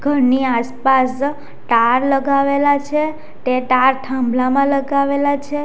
ઘરની આસપાસ ટાર લગાવેલા છે તે ટાર થાંભલામાં લગાવેલા છે.